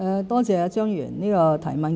多謝張議員的提問。